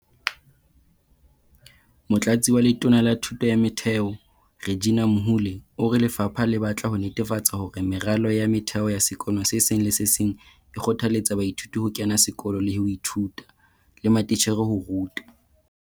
Motlatsi wa Letona la Thuto ya Motheo, Reginah Mhaule, o re lefapha le batla ho netefatsa hore meralo ya motheo ya sekolo se seng le se seng e kgothaletsa baithuti ho kena sekolo le ho ithuta, le matitjhere ho ruta.